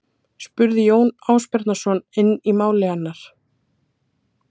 spurði Jón Ásbjarnarson inn í mál hennar.